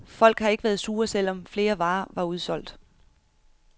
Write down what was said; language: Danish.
Folk har ikke været sure, selv om flere varer var udsolgt.